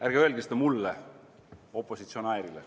Ärge öelge seda mulle, opositsionäärile.